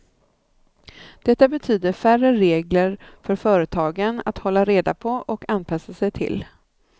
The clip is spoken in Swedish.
Detta betyder färre regler för företagen att hålla reda på och anpassa sig till.